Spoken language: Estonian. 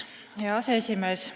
Hea aseesimees!